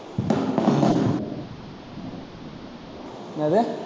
என்னது